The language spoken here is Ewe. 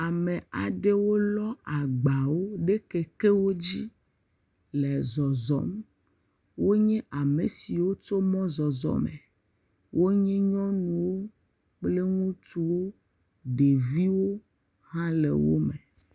Ame aɖewo lɔ agbawo ɖe kekewo dzi le zɔzɔm, wonye ame siwo tso mɔzɔzɔ me, wonye nyɔnuwo kple ŋutsuwo, ɖeviwo hã le wo me.